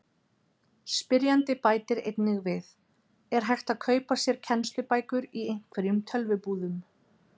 Spyrjandi bætir einnig við: Er hægt að kaupa sér kennslubækur í einhverjum tölvubúðum?